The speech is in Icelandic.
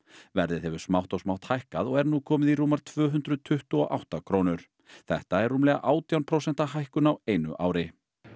verðið hefur smátt og smátt hækkað og er nú komið í rúmar tvö hundruð tuttugu og átta krónur þetta er rúmlega átján prósent hækkun á einu ári